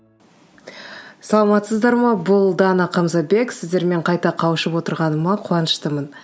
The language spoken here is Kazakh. саламатсыздар ма бұл дана қамзабек сіздермен қайта қауышып отырғаныма қуаныштымын